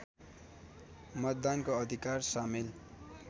मतदानको अधिकार सामेल